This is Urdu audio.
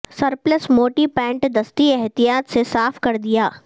سرپلس موٹی پینٹ دستی احتیاط سے صاف کر دیا